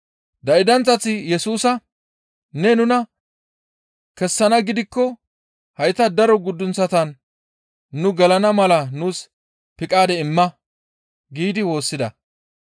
Daydanththati Yesusa, «Ne nuna kessanaa gidikko haytan daro guddunththatan nu gelana mala nuus piqaade imma» giidi woossida.